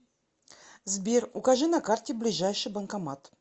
сбер укажи на карте ближайший банкомат